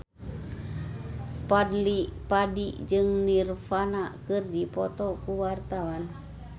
Fadly Padi jeung Nirvana keur dipoto ku wartawan